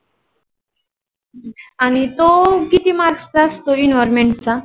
आणि तो किती mark चा असतो Environment ला